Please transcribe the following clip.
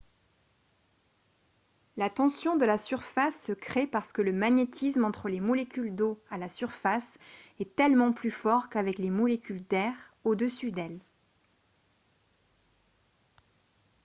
la tension de la surface se crée parce que le magnétisme entre les molécules d'eau à la surface est tellement plus fort qu'avec les molécules d'air au dessus d'elles